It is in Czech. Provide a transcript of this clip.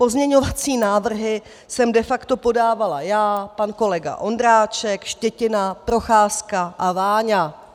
Pozměňovací návrhy jsem de facto podávala já, pan kolega Ondráček, Štětina, Procházka a Váňa.